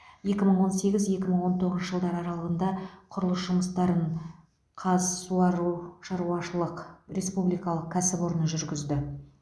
екі мың он сегіз екі мың он тоғызыншы жылдар аралығында құрылыс жұмыстарын қазсуарушаруашышылық республикалық кәсіпорны жүргізді